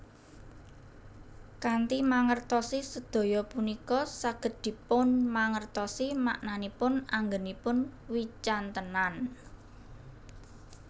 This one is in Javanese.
Kanthi mangertosi sedaya punika saged dipunmangertosi maknanipun anggenipun wicantenan